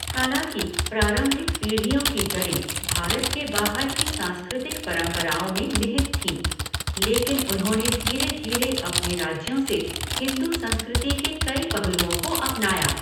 हालाँकि प्रारंभिक पीढ़ियों की जड़ें भारत के बाहर की सांस्कृतिक परंपराओं में निहित थीं, लेकिन उन्होंने धीरे धीरे अपने राज्यों से हिंदू संस्कृति के कई पहलुओं को अपनाया।